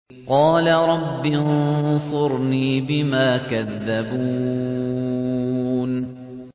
قَالَ رَبِّ انصُرْنِي بِمَا كَذَّبُونِ